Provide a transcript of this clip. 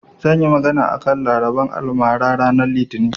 Zan yi magana a kan labaran almara ranar litinin.